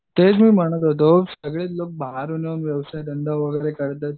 तेच मी म्हणत होतो सगळेच लोक बाहेरून व्यवसाय धंदा वगैरे करतात